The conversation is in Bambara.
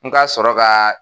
N ka sɔrɔ ka